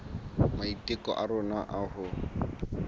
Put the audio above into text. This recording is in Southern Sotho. maiteko a rona a ho